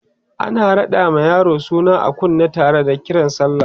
ana raɗa ma yaro suna a kunne Tara da Kiran sallah